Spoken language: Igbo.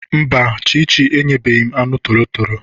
Mba, Chichi enyebeghị m anụ torotoro.